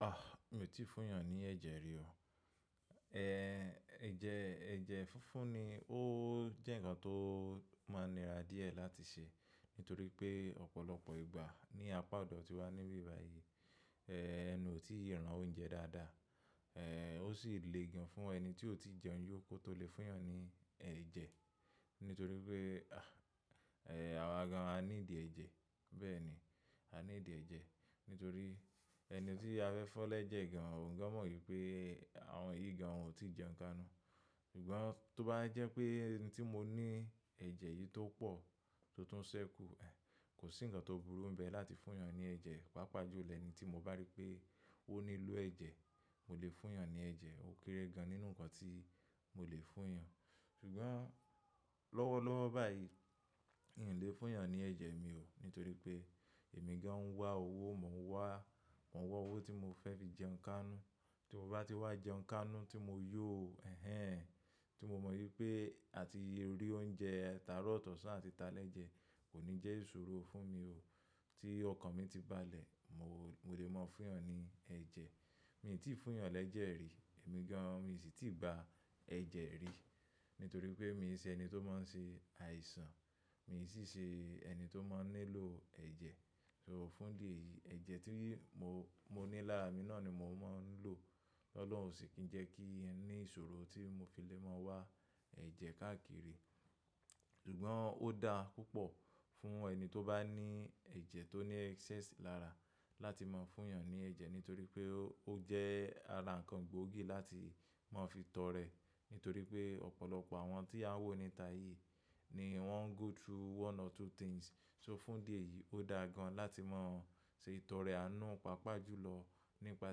Ah! Mi ò tíì fún èèyàn ní ẹ̀jẹ̀ rí o. Ẹ̀jẹ̀, ẹ̀jẹ̀ funfun ni. Ó jẹ́ ǹkan tó máa nira díẹ̀ láti ṣe, nítorí pé ọ̀pọ̀lọpọ̀ ìgbà ní apá ọ̀dọ̀ tí wá níbí báyìí, ee, ẹnu ò tíì ran oúnjẹ dáadáa. Ó sì le gan fún ẹni tí ò tíì jẹun yó kó tó lè fún èèyàn ní ẹ̀jẹ̀. Nítorí pe àwa gan a need ẹ́jẹ. Bẹ́ẹ̀ ni, a ní ìdí ẹ́ jẹ. Nítorí ẹni tí a fẹ́ fún lẹ́jẹ gan, òún gan mọ̀ wípé àwọn èyí gan won ò tíì jẹun kánú. Ṣùgbọ́n tó bá jẹ́ pé ẹni tí mo ní ẹ̀jẹ̀ yìí tó pọ̀ tó tún ṣẹ́kù, kò sí ǹkan tó burú bẹ́ẹ̀ láti fún èèyàn ní ẹ̀jẹ̀. Pápà jù lẹ́ẹ̀nú tí mo bá rí pé ó nílò ẹ̀jẹ̀, mo lè fún èèyàn ní ẹ̀jẹ̀. Ó kéré gan nínú ǹkan tí mo lè fún èèyàn. Ṣùgbọ́n lọ́wọ́lọ́wọ́ báyìí, n ò lè fún èèyàn ní ẹ̀jẹ̀ mi o. Nítorí pé èmi gan ń wá owó, mo ń wá, mo ń wá owó tí mo fẹ́ fi jẹun kánú. Tí mo bá ti wá jẹun kánú tí mo yó, ẹhẹ́n, tí mo mọ wípé àti le ri oúnjẹ taaro àti taleje kò ní jẹ́ ìṣòro fún mi o. Tí ọkàn mi ti bá lẹ̀, mo lè mọ́ fún èèyàn ní ẹ̀jẹ̀. Mi ti fún yan leje ri, emi gan mi si ti gba ẹ̀jẹ̀ ri. Nítorí pé mi sì ṣe ẹni tó máa n ṣe àìsàn, mi sì ṣe ẹni tó máa ń nílò ẹ̀jẹ̀. So, fún idi èyí, ẹ̀jẹ̀ tí mo, mo ní lára mi náà ni mò ń máa ń lò. Tọ́lọ́hun ò sì tuń jẹ́ kí ní ìṣòro tí mo fi lè máa wá ẹ̀jẹ̀ káàkiri. Ṣùgbọ́n ó dá púpọ̀ fún ẹni tó bá ní ẹ̀jẹ̀ tó ní excess lára láti máa fún èèyàn ní ẹ̀jẹ̀, nítorí pé ó jẹ́ ara ǹkan gbóògì láti máa fi tọrẹ. Nítorí pé ọ̀pọ̀lọpọ̀ àwọn tí a ń wò níta yìí ni wọ́n go through one or two things. So fún idi èyí, ó dá gan láti máa ṣe ìtọrẹ àánú, pàápàá jùlọ nípa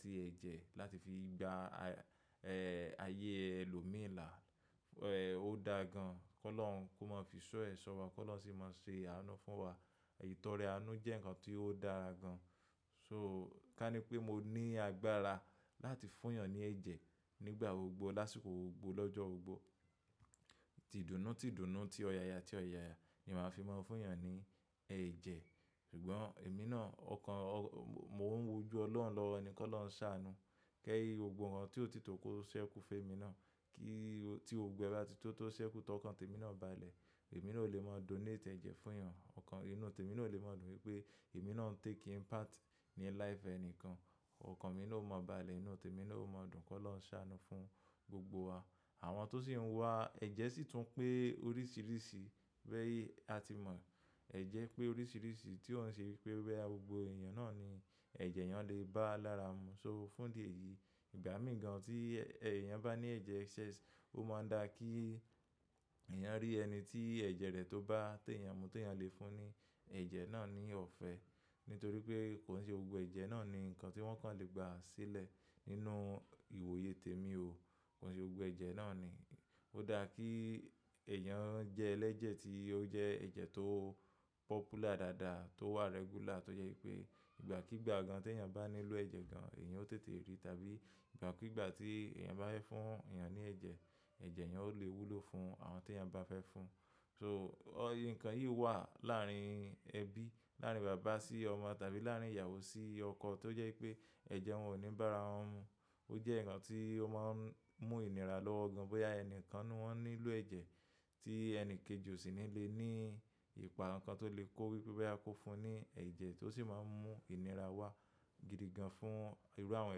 tí ẹ̀jẹ̀ láti fi gba, ee, ayé ẹlòmíràn la, ó dá gan kọ́ lọ́hun kó máa fi iṣọ́ ẹ̀ ṣọ́wa, kọ́ lọ́hun sì máa ṣe àánú fún wa. Ìtọrẹ àánú jẹ́ ǹkan tí ó dára gan. So, ká ní pé mo ní agbára láti fún èèyàn ní ẹ̀jẹ̀ nígbà gbogbó, lásìkò gbogbó, lọ́jọ́ gbogbó. Tìdùnnú, tìdùnnú, tí ọ̀yàyà tí ọ̀yàyà ni màá fi máa fún èèyàn ní ẹ̀jẹ̀. Ṣùgbọ́n èmi náà, ọkàn, mo ń wujú Ọlọ́run lọ́wọ́ ni, kólọhun sá anú. Lẹ́yìn gbogbo nkan tí ò tìtò kó ṣẹ́kù fẹ́mi náà, kí, tí gbogbo e ba ti tòó tó ṣẹ́kù tó ọkàn tèmi náà bá lẹ̀, èmi náà ò lè máa donate ẹ̀jẹ̀ fún èèyàn. Ọkàn inú tèmi náà ò lè máa dùn wípé èmi náà ń take impact ní life ẹni kan. Ọkàn mi náà ò mọ́ bá lẹ̀ inú tèmi náà ò mọ́ dùn kólọ́hun saanú fún gbogbo wa. Àwọn tó sì ń wá ẹ̀jẹ̀ sì tún pé oríṣìíríṣìí. Bẹ́ẹ̀ yí, a ti mọ̀ ẹ̀jẹ̀ pé oríṣìíríṣìí tí ó ń ṣe wípé boya gbogbo èèyàn náà ni ẹ̀jẹ̀ eyan lè bá lára mu. So, fún idi eyì, ìgbà mìi gan tí èèyàn bá ní ẹ̀jẹ̀ excess, ó máa ń dá kí èèyàn rí ẹni tí ẹ̀jẹ̀ rẹ̀ tó bá tèèyàn mu, tí èèyàn le fún ní ẹ̀jẹ̀ náà ní ọ̀fẹ́. Nítorí pe, ko nse gbogbo ẹ̀jẹ̀ náà ni nkan ti won kan le gba sile nínú irori temi kò sí gbogbo ẹ̀jẹ̀ náà ni. Ó dá kí èèyàn jẹ́ ẹlẹ́jẹ̀ tí ó jẹ́ ẹ̀jẹ̀ tó popular dáadáa, tó wà regular, tó jẹ́ wípé ìgbà kigbà gan tí èèyàn bá nílò ẹ̀jẹ̀ gan, èèyàn ó tètè rí. Tàbí ìgbà kigbà tí èèyàn bá fẹ́ fún èèyàn ní ẹ̀jẹ̀, ẹ̀jẹ̀ èèyàn ó lè wúlò fún àwọn tèèyàn bá fẹ́ fún. So, ǹkan yìí wà láàárín ẹbí, láàárín bàbá sí ọmọ tàbí láàárín ìyàwó sí ọkọ tó jẹ́ wípé ẹ̀jẹ̀ wọn ò ní bá ara wọn mu. Ó jẹ́ ǹkan tí ó máa ń mú ìnira lọ́wọ́ gan. Bóyá ẹni kan n nu won nílò ẹ̀jẹ̀ tí ẹni kejì ò sì ní le ni ìpa kankan tó lè kó wípé boya kó fún un ní ẹ̀jẹ̀ tó sì máa ń mú ìnira wá gidigan fún irú àwọn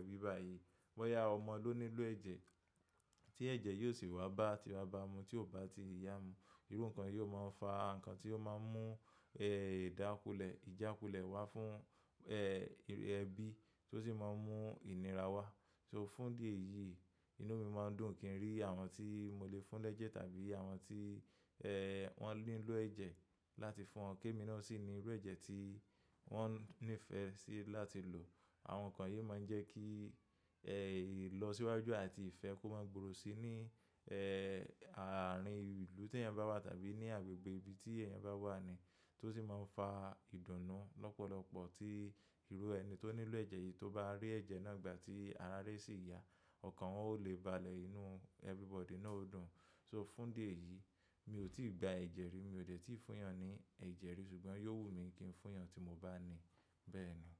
ẹbí báyìí. Bóyá ọmọ ló nílò ẹ̀jẹ̀ tí ẹ̀jẹ̀ yìí o sì wá bá ti babá mu tí ó bá ti ìyà mu. Irú ǹkan yìí ó máa ń fa ǹkan tí ó máa ń mú, ee, ìjákulẹ̀, ìjákulẹ̀ waá fún, ee, ẹbí tó sì máa ń mú ìnira wá. So, fún idi èyí inú mi máa ń dùn kí n rí àwọn tí mo lè fún lẹ́jẹ̀ tàbí àwọn tí, ee, wọ́n nílò ẹ̀jẹ̀ láti fún wọn. Ke mi náà sì ní irú ẹ̀jẹ̀ tí wọ́n nífẹ̀ẹ́ sí láti lò. Àwọn ǹkan yìí o máa ń jẹ́ kí, ee, ìlọsíwájú àti ìfẹ́ kó máa gbòòrò síi ní, ee, àárín ìlú tí èèyàn bá wà tàbí ní agbègbè ibi tí èèyàn bá wà ní tó sì máa ń fa ìdùnnú lọ́pọ̀lọpọ̀ tí irú ẹni tó nílò ẹ̀jẹ̀ yìí tó bá rí ẹ̀jẹ̀ náà ìgbà tí ara re sì ya, ọ̀kan won o lè bá lẹ̀ inú everybody náà ó dùn. So, fún idi eyìí, mi ò tíì gba ẹ̀jẹ̀ rí, mi ò dẹ̀ tíì fún èèyàn ní ẹ̀jẹ̀ rí, ṣùgbọ́n yóò wù mí kí n fún èèyàn tí mo bá ní. Bẹ́ẹ̀ni.